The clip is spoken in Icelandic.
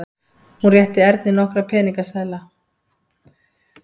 Hún rétti Erni nokkra peningaseðla.